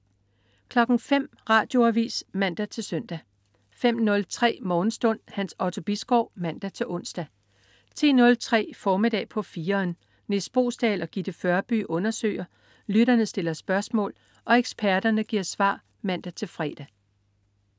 05.00 Radioavis (man-søn) 05.03 Morgenstund. Hans Otto Bisgaard (man-ons) 10.03 Formiddag på 4'eren. Nis Boesdal og Gitte Førby undersøger, lytterne stiller spørgsmål og eksperterne giver svar (man-fre)